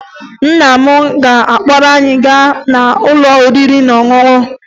Nna m ga-akpọrọ anyị gaa n'ụlọ oriri na ọṅụṅụ